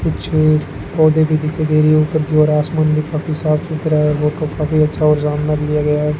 कुछ पेड़ पोधै भी दिखाई दे रहे है ऊपर की और आसमान भी काफी साफ सुथरा है फोटो काफी अच्छा और सामने से लिया गया है।